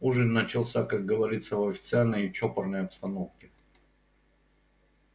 ужин начался как говорится в официальной и чопорной обстановке